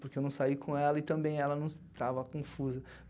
Porque eu não saí com ela e também ela não estava confusa.